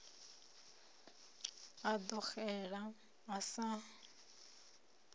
a ḓo xela a sa